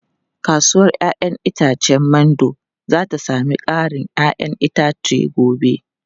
Kasuwar 'ya'yan itacen Mando za ta sami karin 'ya'yan itace gobe.